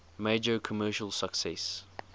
major commercial success